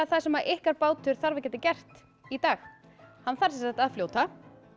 það sem ykkar bátur þarf að geta gert í dag hann þarf að fljóta